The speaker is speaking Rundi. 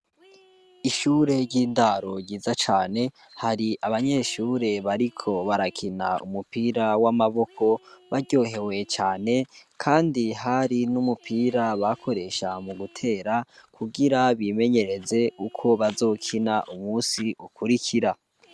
Ishure ry'indaro ryiza cane hari abanyeshure bariko barakina umupira w'amaboko baryohewe cane, kandi hari n'umupira bakoresha mu gutera kugira bimenyereze uko bazokina umusi ukurikira.